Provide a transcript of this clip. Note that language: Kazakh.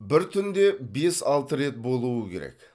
бір түнде бес алты рет болуы керек